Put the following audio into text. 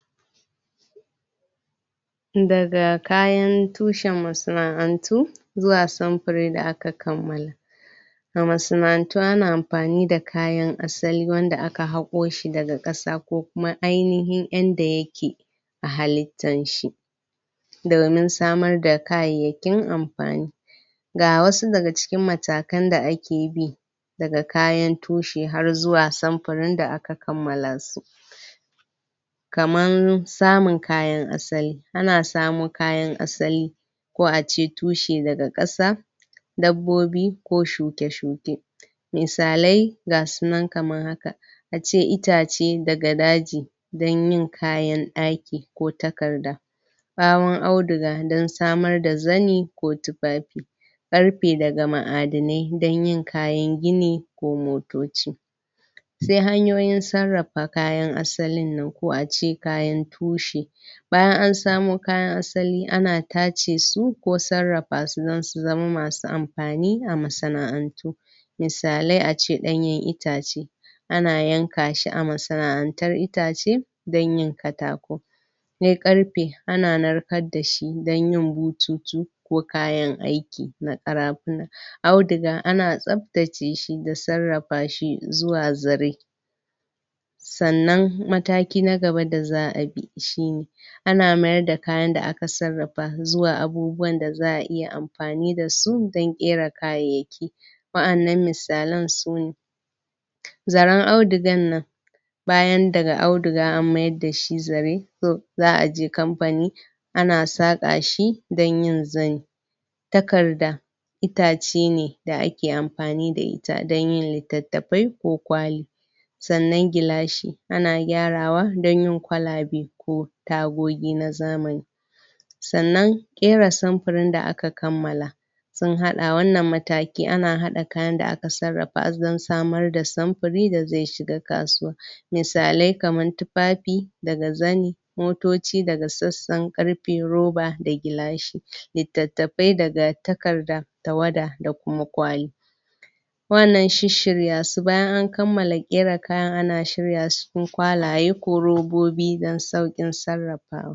Daga kayan tushen masana'antu zuwa samfari da aka kammala masana'antu ana amfani da kayan asali wanda aka hako shi daga kasa ko kuma ainahin inda yake a halittar shi daga nan samar da kayayakin amfani ga wasu daga cikin matakan da akebi daga kayan tushe har zuwa samfarin da aka kammala su kamar samun kayan asali ana samo kayan asali ko ace tushe daga kasa dabbobi ko shuke shuke misalai gasunan kamar haka ace itace daga daji don yin kayan daki ko takarda karon auduga don samar da zane ko tufafi karfe daga ma'adanai don yin kayan gini ko motoci sai hanyoyin sarrafa kayan asalin nan ko ace kayan tushe bayan an samo kayan asali ana tace su ko sarrafa su don su zama masu amfani a masana'antu misalai ace danyen itace ana yanka shi a masana'antar itace don yin katako sai karfe ana karfe ana narkar da shi don yin bututu ko kayan aiki na kara funa auduga ana tsabtace shi da sarrafa shi zuwa zare sannan mataki na gaba da za'a bi shine ana mayar da kayan da aka sarrafa zuwa abubuwan da za'a iya amfani da su don kera kayayyaki wadannan misalan su zaren audugan nan bayan daga auduga an mayar dashi zare to za'aje kamfani ana saka shi don yin zane ko takarda itace ne da ake amfani da ita don yin litattafai ko kwali sanann gilashi ana kyarawa don yin kwalabe ko kuma tagogi na zamani sannan kera samfarin da aka kammala sun hada wannan mataki ana hada kayan da aka sarrafa don samar da samfari da zai shiga kasuwa misalai kamar tufafi daga zane motoci daga sassan karfe roba da gilashi litattafai daga takarda tawada da kuma kwali wannan shisshirya su bayan an kamala kayan ana shirya su cikin kwalaye ko robobida saukin sarrafawa